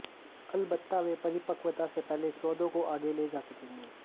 अलबत्ता वे परिपक्वता से पहले सौदों को आगे ले जा सकेंगे